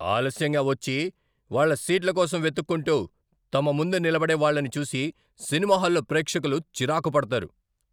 ఆలస్యంగా వచ్చి, వాళ్ళ సీట్ల కోసం వెతుక్కుంటూ, తమ ముందు నిలబడే వాళ్ళని చూసి సినిమా హాల్లో ప్రేక్షకులు చిరాకు పడతారు.